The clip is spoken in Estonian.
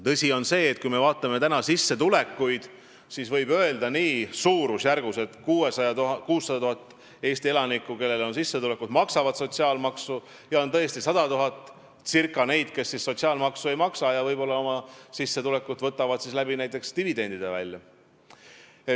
Tõsi on see, et kui me vaatame sissetulekuid, siis võib öelda, et suurusjärgud on sellised: 600 000 Eesti elanikku, kellel on sissetulek, maksavad sotsiaalmaksu ja circa 100 000 on tõesti neid, kes sotsiaalmaksu ei maksa ja võtavad oma sissetulekut välja näiteks dividendidena.